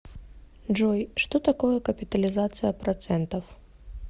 джой что такое капитализация процентов